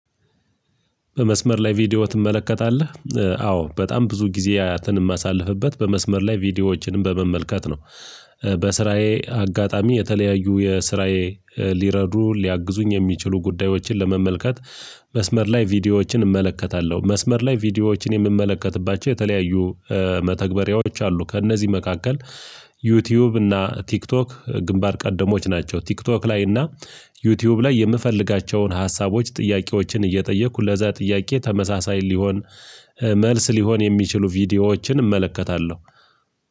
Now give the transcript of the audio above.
በመስመር ላይ ቪዲዮ ትመለከታለህ አዎ በጣም ብዙ ጊዜ አያትን የማሳልፍበት በመስመር ላይ ቪዲዮዎችን በመመልከት ነው በስራዬ አጋጣሚ የተለያዩ የስራዬ ሊረዱ ሊያግዙኝ የሚችሉ ጉዳዮችን ለመመልከት መስመር ላይ ቪዲዮዎችን እመለከታለሁ መስመር ላይ ቪዲዮዎችን የምመለከትባቸው የተለያዩ መተግበሪያዎች አሉ ከእነዚህ መካከል ዩ ቱዩብ እና ቲክቶክ ግንባር ቀደሞች ናቸው ቲክቶክ ላይ እና ዩ ትዩብ ላይ የምፈልጋቸውን ሀሳቦች ጥያቄዎችን እየጠየኩ ለዛ ጥያቄ ተመሳሳይ ሊሆን መልስ ሊሆን የሚችሉ ቪዲዮዎችን እመለከታለሁ።